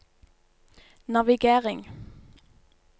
navigering